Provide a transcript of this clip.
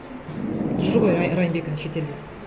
жүр ғой райымбек әні шетелде